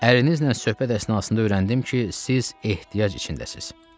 Ərinizlə söhbət əsnasında öyrəndim ki, siz ehtiyac içindəsiz.